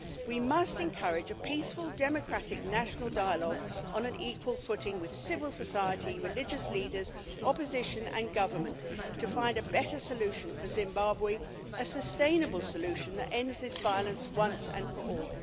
We must encourage a peaceful, democratic, national dialogue on an equal footing with civil society, religious leaders, opposition and government, to find a better solution for Zimbabwe a sustainable solution that ends this violence once and for all.